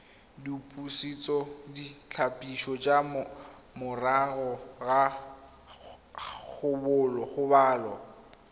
dipusetsoditlhapiso tsa morago ga kgobalo